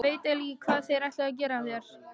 Ég veit eiginlega ekki hvað þér ættuð að gera þangað.